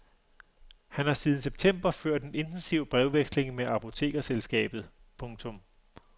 Han har siden september ført en intensiv brevveksling med apotekerselskabet. punktum